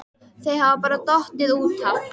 Þau hafa bara dottið út af